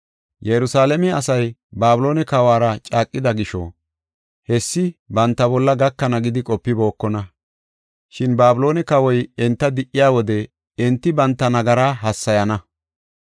Yerusalaame asay Babiloone kawuwara caaqida gisho, hessi banta bolla gakana gidi qopibookona. Shin Babiloone kawoy enta di77iya wode enti banta nagaraa hassayana.